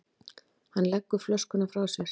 Hann leggur flöskuna frá sér.